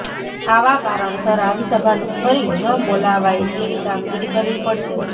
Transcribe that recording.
આવા કારણસર આવી સભા ફરી ન બોલાવાય તેવી કાગમીરી કરવી પડશે